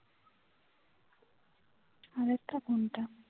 আর একটা কোনটা